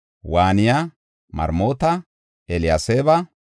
Waaniya, Maremoota, Eliyaseeba,